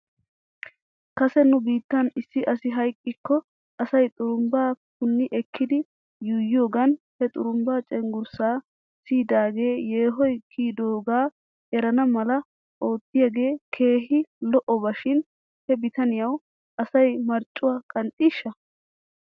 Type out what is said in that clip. Kase nu biittan issi asi hayqqikko asay xurumbbaa puni ekkidi yuuyiyoogan he xurumbbaa cenggurssaa siydagee yeehoy kiyidoogaa erana mala oottiiyoogee keehi lo'oba shin he bitaniyawu asay marccuwaa qanxxiishsha?